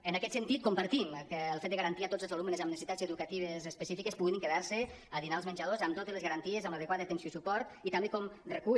en aquest sentit compartim el fet de garantir a tots els alumnes amb necessitats educatives específiques que puguin quedar se a dinar als menjadors amb totes les garanties amb l’adequada atenció i suport i també com recull